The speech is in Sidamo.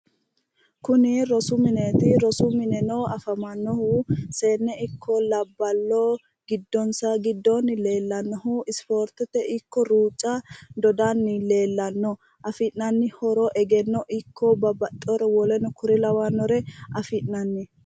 Kuni rosu mineeti rosu mineno afamannohu seenne ikko labballo giddonsa giddoonni leellannohu isipoortete ikko ruucca dodanni leellanno afi'nanni horo egenno ikko babbaxxewore woleno kuri lawannore afi'nanni